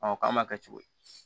k'an m'a kɛ cogo di